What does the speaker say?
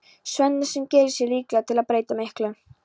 Svenna sem gerir sig líklega til að breyta miklu.